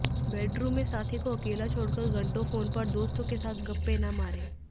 bedroom में साथी को अकेला छोड़कर घंटों फोन पर दोस्तों के साथ गप्पे न मारे